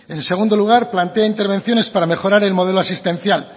en segundo lugar plantea intervenciones para mejorar el modelo asistencial